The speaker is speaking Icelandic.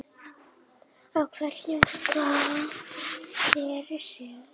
á hverjum stað fyrir sig.